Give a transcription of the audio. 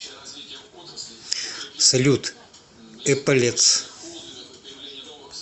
салют эполетс